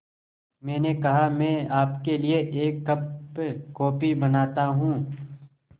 मैंने कहा मैं आपके लिए एक कप कॉफ़ी बनाता हूँ